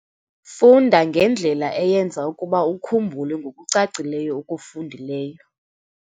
Funda ngendlela eyenza ukuba ukhumbule ngokucacileyo okufundileyo.